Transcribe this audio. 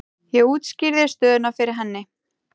Ég útskýrði stöðuna fyrir henni.